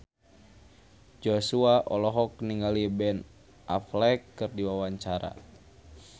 Joshua olohok ningali Ben Affleck keur diwawancara